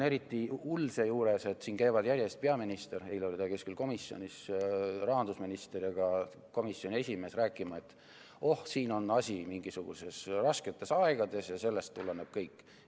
Eriti hull on seejuures, et siin käivad järjest peaminister , rahandusminister ja ka komisjoni esimees rääkimas, et oh, asi on mingisugustes rasketes aegades ja sellest tuleneb kõik.